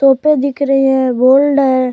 टोपे दिख रही है गोल्ड है।